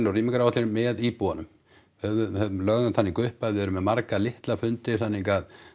og rýmingaráætlanir með íbúunum við lögðum það líka upp að við erum með marga litla fundi þannig að